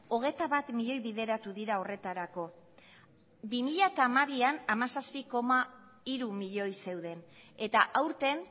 hogeita bat milioi bideratu dira horretarako bi mila hamabian hamazazpi koma hiru milioi zeuden eta aurten